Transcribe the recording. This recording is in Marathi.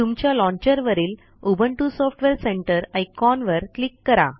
तुमच्या लॉन्चर वरील उबुंटू सॉफ्टवेअर सेंटर आयकॉनवर क्लिक करा